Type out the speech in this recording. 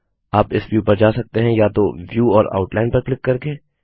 आप इस व्यू पर जा सकते हैं या तो व्यू और आउटलाइन पर क्लिक करके